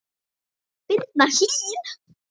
Birna Hlín.